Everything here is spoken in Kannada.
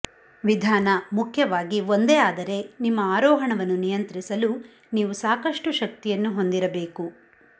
ವಿಧಾನ ಮುಖ್ಯವಾಗಿ ಒಂದೇ ಆದರೆ ನಿಮ್ಮ ಆರೋಹಣವನ್ನು ನಿಯಂತ್ರಿಸಲು ನೀವು ಸಾಕಷ್ಟು ಶಕ್ತಿಯನ್ನು ಹೊಂದಿರಬೇಕು